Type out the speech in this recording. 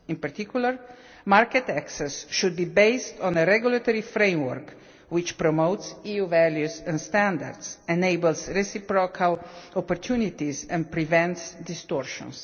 In particular, market access should be based on a regulatory framework which promotes EU values and standards, enables reciprocal opportunities and prevents distortions.